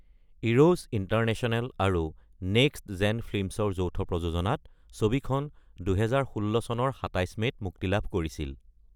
Eros International আৰু Next Gen ফিল্মছৰ যৌথ প্ৰযোজনাত ছবিখন ২০১৬ চনৰ ২৭ মে’ত মুক্তি লাভ কৰিছিল।